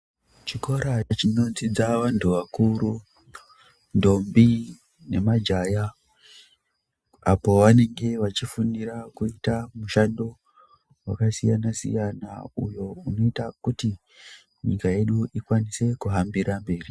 Chikora chinodzidza vantu vakuru ntombi nemajaya apo vanenge vachifundira kuita mishando wakasiyana siyana uyo unoita kuti nyika yedu ikwanise kuhambira mberi.